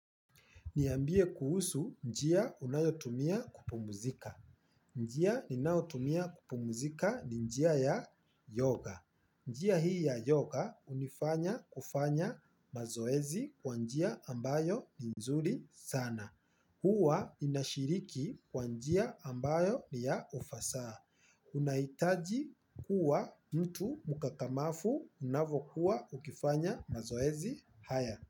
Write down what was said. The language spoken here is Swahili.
Niambie kuhusu njia unayotumia kupumuzika. Njia ninaotumia kupumuzika ni njia ya yoga. Njia hii ya yoga unifanya kufanya mazoezi kwa njia ambayo ni nzuri sana. Hua inashiriki kwa njia ambayo ni ya ufasaa. Unaitaji kuwa mtu mukakamafu unavokuwa ukifanya mazoezi haya.